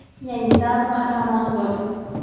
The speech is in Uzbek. Yangi davr qahramoni bo‘l!.